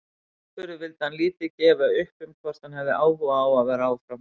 Aðspurður vildi hann lítið gefa upp um hvort hann hefði áhuga á að vera áfram.